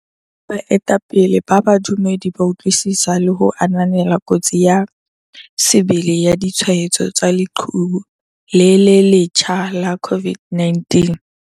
Baetapele ba badumedi ba utlwisisa le ho ananela kotsi ya sebele ya ditshwaetso tsa leqhubu le le letjha la COVID-19.